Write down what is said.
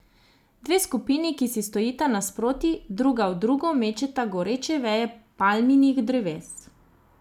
Dve skupini, ki si stojita nasproti, druga v drugo mečeta goreče veje palminih dreves.